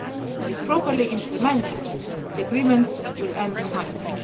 And, if properly implemented, the agreement will end the fighting.